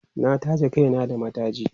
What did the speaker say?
na taje Kai na da mataji